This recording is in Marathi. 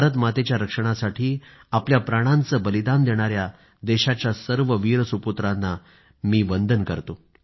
भारतमातेच्या रक्षणासाठी आपल्या प्राणांचे बलिदान देणाया देशाच्या सर्व वीर सुपुत्रांना मी वंदन करतो